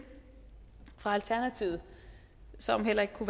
fra alternativet som heller ikke kunne